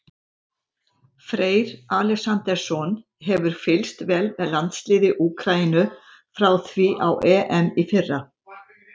Freyr Alexandersson hefur fylgst vel með landsliði Úkraínu frá því á EM í fyrra.